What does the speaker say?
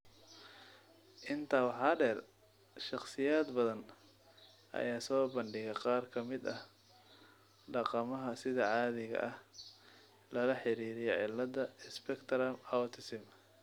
Intaa waxaa dheer, shakhsiyaad badan ayaa soo bandhiga qaar ka mid ah dhaqamada sida caadiga ah lala xiriiriyo cilladaha spectrum autism.